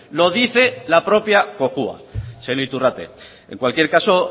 lo dice la propia cojua señor iturrate en cualquier caso